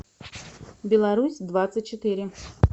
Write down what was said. беларусь двадцать четыре